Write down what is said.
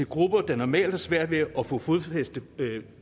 grupper der normalt har svært ved at få fodfæste